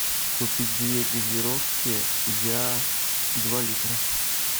купить две газировки я два литра